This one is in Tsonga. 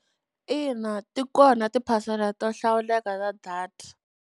Ina, ti kona tiphasela to hlawuleka ta data.